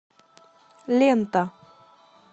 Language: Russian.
лента